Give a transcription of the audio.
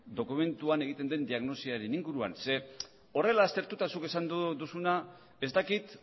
dokumentuan egiten den diagnosiaren inguruan zeren horrela aztertuta zuk esan duzuna ez dakit